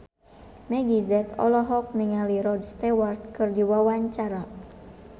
Meggie Z olohok ningali Rod Stewart keur diwawancara